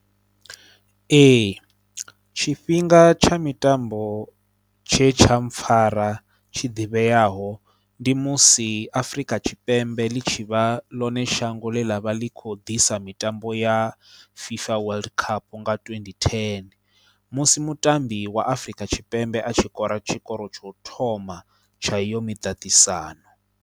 Ee tshifhinga tsha mitambo tshe tsha mpfhara tshi ḓivheaho ndi musi Afrika Tshipembe ḽi tshi vha ḽone shango ḽe ḽa vha ḽi khou ḓisa mitambo ya FIFA World Cup nga twendi thene musi mutambi wa Afrika Tshipembe a tshi kora tshikoro tsho thoma tsha iyo miṱaṱisano.